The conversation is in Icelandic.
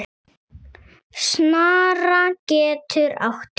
Snara getur átt við